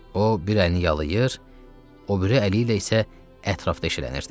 O bir əlini yalır, o biri əli ilə isə ətrafda eşələnirdi.